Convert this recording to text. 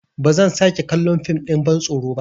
Ba zan sake kallon fim ɗin bantsoro ba.